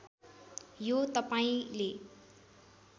यो तपाईँले